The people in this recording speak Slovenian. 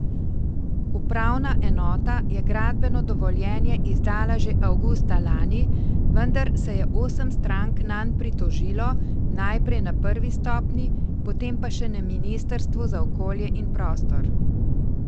Upravna enota je gradbeno dovoljenje izdala že avgusta lani, vendar se je osem strank nanj pritožilo najprej na prvi stopnji, potem pa še na ministrstvu za okolje in prostor.